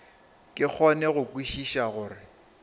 ke kgone go kwešiša gore